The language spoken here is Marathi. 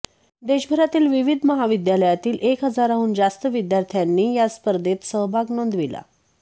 देशभरातील विविध महाविद्यालयातील एक हजाराहून जास्त विद्यार्थ्यांनी या स्पर्धेत सहभाग नोंदविला